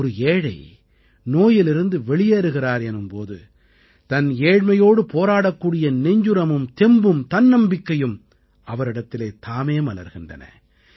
ஒரு ஏழை நோயிலிருந்து வெளியேறுகிறார் எனும் போது தன் ஏழமையோடு போராடக்கூடிய நெஞ்சுரமும் தெம்பும் தன்னம்பிக்கையும் அவரிடத்தில் தாமே மலர்கின்றன